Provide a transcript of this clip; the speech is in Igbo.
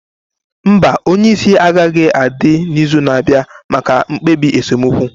Mba, onye isi agaghị adị n'izu na-abịa maka mkpebi esemokwu